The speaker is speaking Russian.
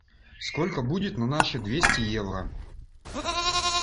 сколько будет на наши двести евро